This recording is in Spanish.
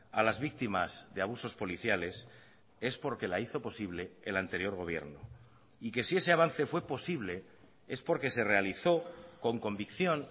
a las víctimas de abusos policiales es porque la hizo posible el anterior gobierno y que si ese avance fue posible es porque se realizó con convicción